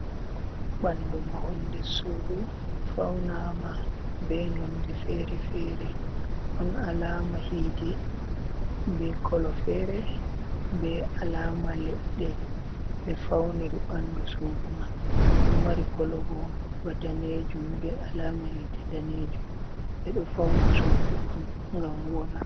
Ɓandu mahol ndes sudu, faunaama be nonde fere-fere. Ɗon alama hiite be kolo fere, be alama leɗɗe ɓe fauniri ɓandu sudu man. Ɗo mari kolo bo ba daneejum, be alaama hiite danejum. Ɓe ɗo fauna sudu on ngam wooɗa.